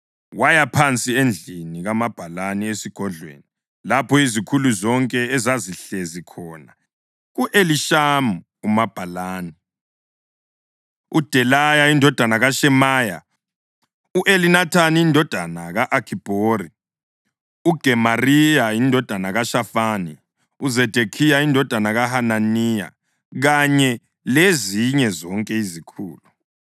waya phansi endlini kamabhalani esigodlweni, lapho izikhulu zonke ezazihlezi khona: u-Elishama umabhalani, uDelaya indodana kaShemaya, u-Elinathani indodana ka-Akhibhori, uGemariya indodana kaShafani, uZedekhiya indodana kaHananiya kanye lezinye zonke izikhulu.